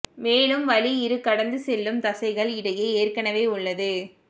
மேலும் வழி இரு கடந்து செல்லும் தசைகள் இடையே ஏற்கனவே உள்ளது